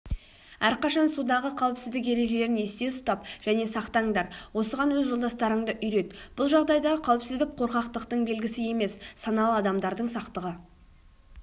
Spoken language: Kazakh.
әрқашан судағы қауіпсіздік ережелерін есте ұстап және сақтаңдар осыған өз жолдастарыңды үйрет бұл жағдайдағы қауіпсіздік қорқақтыңтың белгісі емес саналы адамдардың сақтығы